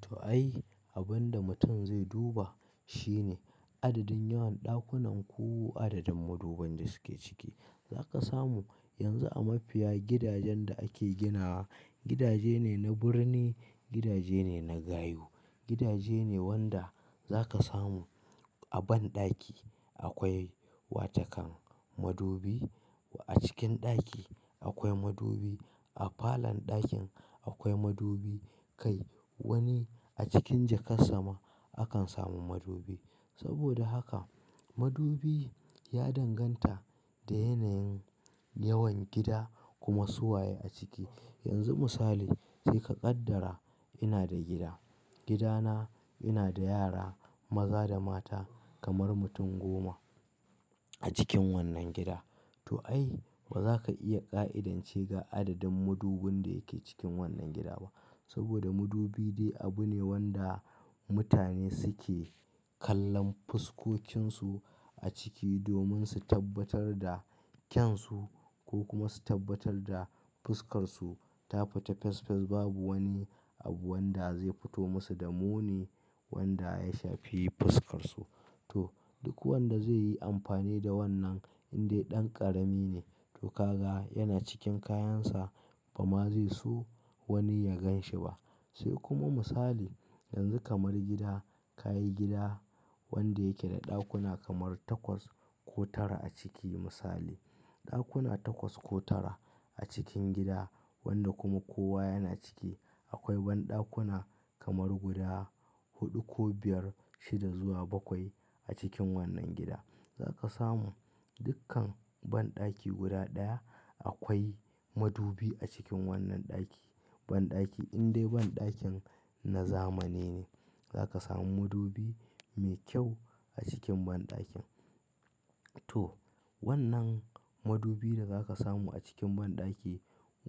To ai, abin da mutum zai duba shine adadin yawan ɗakunan ku adadin maduban da suke ciki. Za ka samu yanzu a mafiya gidajen da ake ginawa, gidaje ne na birni, gidaje ne na gayu, gidaje ne wanda za ka samu a banɗaki akwai wata kan madubi. A cikin ɗaki akwai madubi. A falon ɗakin akwai madubi. Kai wani a cikin jakar sama akan samu madubi. Saboda haka madubi ya danganta da yanayin yawan gida kuma suwaye a ciki. Yanzu misali sai ka kaddara ina da gida, gidana ina da yara maza da mata kamar mutum goma a cikin wannan gida. To ai ba za ka iya ƙa'idance ga adadin madubin da yake cikin wannan gida ba. Saboda madubi dai abu ne wanda mutane suke kallon fuskokinsu a ciki domin su tabbatar da kyansu ko kuma su tabbatar da fuskarsu ta fita fes fes babu wani abu wanda zai fito musu da muni wanda ya shafi fuskarsu. To duk wanda zai yi amfani da wannan in dai ɗan ƙarami ne, to ka ga yana cikin kayansa ba ma zai so wani ya gan shi ba. Sai kuma misali yanzu kamar gida, ka yi gida wanda yake da ɗakuna kamar takwas ko tara a ciki misali. Ɗakuna takwas ko tara a cikin gida wanda kuma kowa yana ciki. Akwai banɗakuna kamar guda huɗu ko biyar, shida zuwa bakwai a cikin wannan gida. Za ka samu dukkan banɗaki guda ɗaya akwai madubi a cikin wannan ɗaki. Banɗaki in dai banɗakin na zamani ne za ka samu madubi mai kyau a cikin banɗakin. To wannan madubi da za ka samu a cikin banɗaki,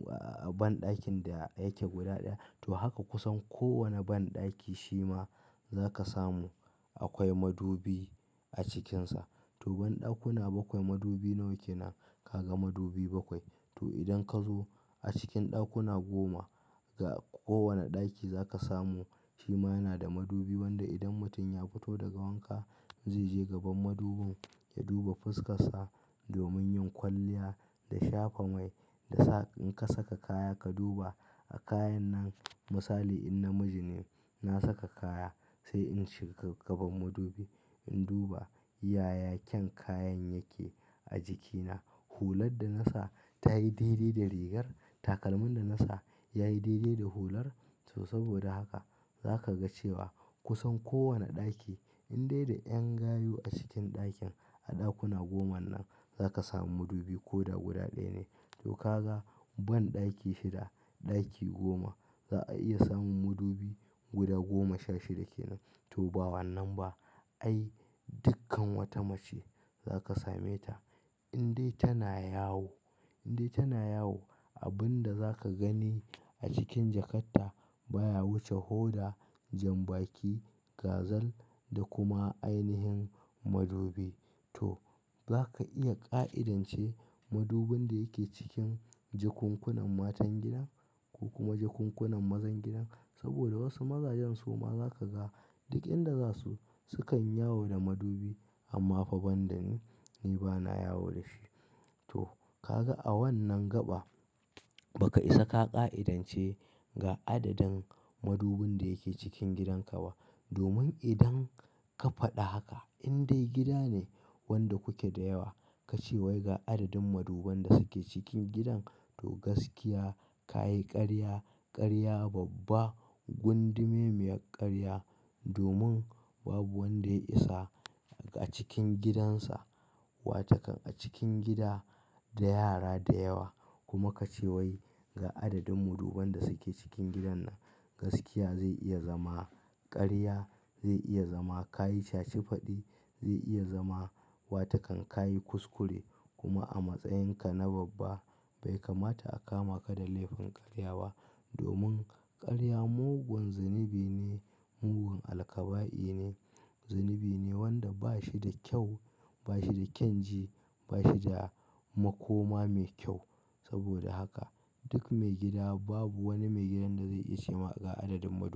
a banɗakin da yake guda ɗaya to haka kusan kowane banɗaki shi ma za ka samu akwai madubi a cikinsa. To banɗakuna bakwai madubi nawa kenan? Ka ga madubi bakwai. To idan ka zo a cikin ɗakuna goma ga kowane ɗaki za ka samu shi ma yana da madubi wanda idan mutum ya fito daga wanka zai je gaban madubin ya duba fuskarsa. Domin yin kwalliya da shafa mai da sa in ka saka kaya ka duba a kayan nan misali in namiji ne, na saka kaya sai in shiga gaban madubi in duba yaya kyan kayan yake a jikina. Hular da na sa tayi daidai da rigar? Takalmin da na sa yayi daidai da hular? To saboda haka za ka ga cewa kusan kowane ɗaki in dai da 'yan gayu a cikin ɗakin a ɗakuna goman nan za ka samu madubi ko da guda ɗaya ne. To ka ga banɗaki shida, ɗaki goma za a iya samun madubi guda goma sha shida kenan. To ba wannan ba ai dukkan wata mace za ka same ta in dai tana yawo, in dai tana yawo abin da za ka gani a cikin jakatta baya wuce hoda, janbaki, gazal da kuma ainihin madubi. To za ka iya ƙa'idance madubin da yake cikin jakunkunan matan gidan ko kuma jakunkunan mazan gidan. Saboda wasu mazajen suma za ka ga duk inda za su, sukan yawo da madubi amma fa ban da ni, ni ba na yawo da shi. To kaga a wannan gaba ba ka isa ka ƙa'idance ga adadin madubin da yake cikin gidanka ba. Domin idan ka faɗa haka in dai gida ne wanda kuke da yawa, ka ce wai ga adadin maduban da suke cikin gidan to gaskiya. Ka yi ƙarya, ƙarya babba, gundumemiyar ƙarya domin babu wanda ya isa a cikin gidansa. Wata kan a cikin gida da yara da yawa kuma ka ce wai ga adadin maduban da suke cikin gidan nan. Gaskiya zai iya zama ƙarya, zai iya zama ka yi shashi faɗi, zai iya zama wata kan ka yi kuskure kuma a matsayinka na babba bai kamata a kama ka da laifin ƙarya ba domin ƙarya mugun zunubi ne, mugun alkaba'i ne, zunubi ne wanda ba shi da kyau, ba shi da kyan ji, ba shi da makoma mai kyau. Saboda haka duk maigida babu wani maigidan da zai iya ce ma ga adadin madub.